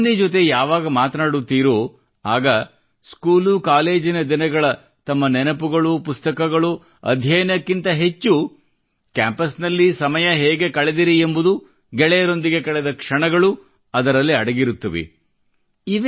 ನೀವು ಅಲುಮಿನಿ ಜೊತೆ ಯಾವಾಗ ಮಾತನಾಡುತ್ತೀರೋ ಆಗ ಸ್ಕೂಲು ಕಾಲೇಜಿನ ದಿನಗಳ ತಮ್ಮ ನೆನಪುಗಳು ಪುಸ್ತಕಗಳು ಅಧ್ಯಯನಕ್ಕಿಂತ ಹೆಚ್ಚು ಕ್ಯಾಂಪಸ್ ನಲ್ಲಿ ಸಮಯ ಹೇಗೆ ಕಳೆದಿರಿ ಎಂಬುದು ಗೆಳೆಯರೊಂದಿಗೆ ಕಳೆದ ಕ್ಷಣಗಳು ಅದರಲ್ಲಿ ಅಡಗಿರುತ್ತವೆ